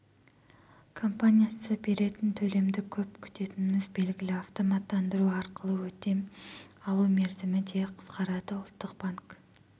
компаниясы беретін төлемді көп күтетініміз белгілі автоматтандыру арқылы өтем алу мерзімі де қысқарады ұлттық банк